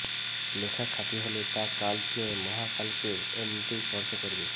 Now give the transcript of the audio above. লেখা খাঁটি হলে তা কাল ছুঁয়ে মহাকালকে এমনিতেই স্পর্শ করবে